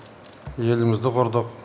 елімізді құрдық